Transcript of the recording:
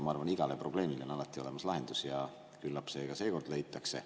Ma arvan, et igale probleemile on alati olemas lahendus ja küllap see ka seekord leitakse.